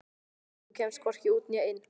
Þú kemst hvorki út né inn.